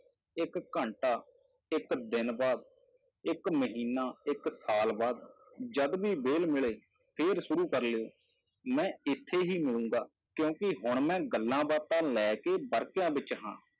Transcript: ਇੱਕ ਘੰਟਾ, ਇੱਕ ਦਿਨ ਬਾਅਦ, ਇੱਕ ਮਹੀਨਾ, ਇੱਕ ਸਾਲ ਬਾਅਦ ਜਦ ਵੀ ਵਿਹਲ ਮਿਲੇ ਫਿਰ ਸ਼ੁਰੂ ਕਰ ਲਇਓ, ਮੈਂ ਇੱਥੇ ਹੀ ਮਿਲਾਂਗਾ ਕਿਉਂਕਿ ਹੁਣ ਮੈਂ ਗੱਲਾਂ ਬਾਤਾਂ ਲੈ ਕੇ ਵਰਕਿਆਂ ਵਿੱਚ ਹਾਂ